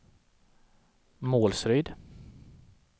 Målsryd